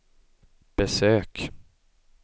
besök